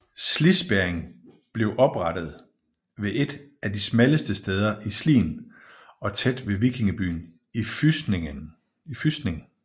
Slispærringen blev oprettet ved et af de smalleste steder i Slien og tæt ved vikingebyen Fysning